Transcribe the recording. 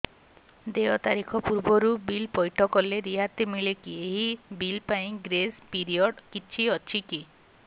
ଦେୟ ତାରିଖ ପୂର୍ବରୁ ବିଲ୍ ପୈଠ କଲେ ରିହାତି ମିଲେକି ଏହି ବିଲ୍ ପାଇଁ ଗ୍ରେସ୍ ପିରିୟଡ଼ କିଛି ଅଛିକି